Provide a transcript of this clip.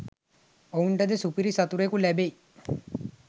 ඔවුන්ට ද සුපිරි සතුරෙකු ලැබෙයි